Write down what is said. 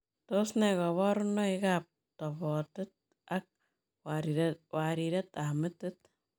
Tos nee kabarunoik ap topotet ak wariret ap metit?